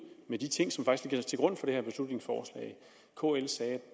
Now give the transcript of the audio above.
med de ting som faktisk ligger til grund for det her beslutningsforslag kl sagde